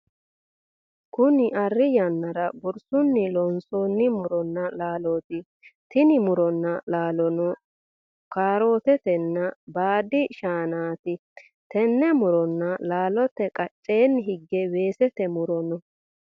Kunni Ari yannara gorsunni loonsoonni muronna laalooti. Tinni muronna laalono kaarootetenna baadi shaannaati. Tenne muronna laallote qaceenni hige weesete muro no.